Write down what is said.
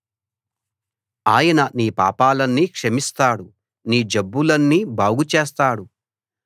ఆయన నీ పాపాలన్నీ క్షమిస్తాడు నీ జబ్బులన్నీ బాగుచేస్తాడు